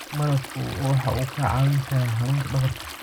Malabku waxa uu kaa caawin karaa xanuunka dhabarka.